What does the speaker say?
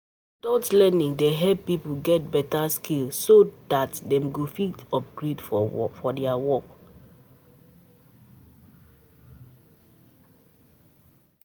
Adult learning dey help pipo get better skills so dat dem go fit get upgrade for their work